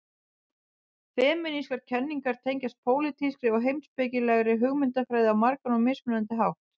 Femínískar kenningar tengjast pólitískri og heimspekilegri hugmyndafræði á margan og mismunandi hátt.